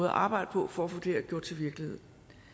arbejde på for at få det her gjort til virkelighed